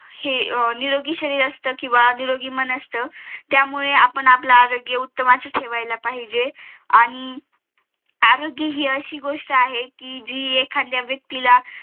हे निरोगी शरीर असत किंवा निरोगी मन असत त्यामुळे आपण आपला आरोग्य उत्तमच ठेवायला पाहिजे आणि अं आरोग्य हि अशी गोष्ट आहे कि जी एखाद्या व्यक्तीला